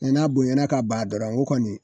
N'a bonyana ka ban dɔrɔn o kɔni